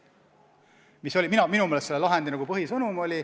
See oli minu meelest selle lahendi põhisõnum.